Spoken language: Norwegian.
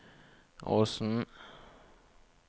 Åsen